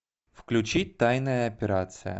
включи тайная операция